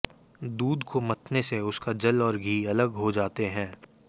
दूध को मथने से उसका जल और घी अलग अलग हो जाते हैं